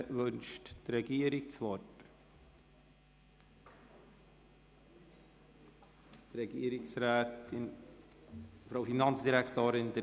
Wünscht die Regierung das Wort? – Frau Finanzdirektorin, Sie haben das Wort.